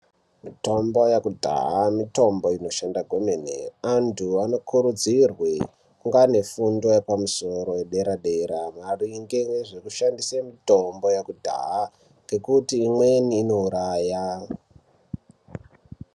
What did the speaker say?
Mitombo yekudhaya mitombo inoshanda kwemene. Antu anokurudzirwe kungaane fundo yepamusoro yedera-dera maringe nezvekushandise mitombo yekudhaa ngekuti imweni inouraya.